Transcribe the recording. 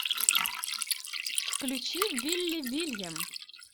включи вилли вильям